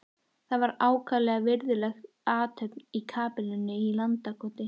Það var ákaflega virðuleg athöfn í kapellunni í Landakoti.